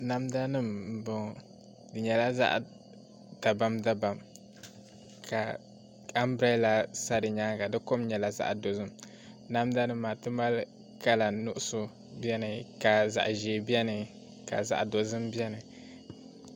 Namda nim n bɔŋɔ di nyɛla zaɣ dabam dabam ka anbirɛla sa di nyaanga di kom nyɛla zaɣ dozim namda nim maa ti mali kala nuɣso biɛni ka zaɣ ʒiɛ biɛni ka zaɣ dozim biɛni